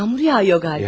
Yağmur yağıyor, qalıb.